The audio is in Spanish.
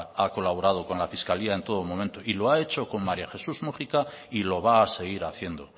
ha colaborado con la fiscalía en todo momento y lo ha hecho con maría jesús múgica y lo va a seguir haciendo